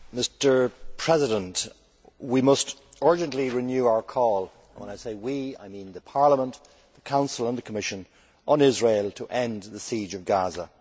Mr President, we must urgently renew our call and when I say we', I mean Parliament, the Council and the Commission on Israel to end the siege of Gaza.